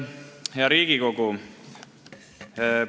Hea Riigikogu!